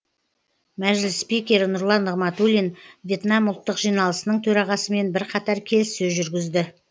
мәжіліс спикері нұрлан нығматуллин вьетнам ұлттық жиналысының төрағасымен бірқатар келіссөз жүргізді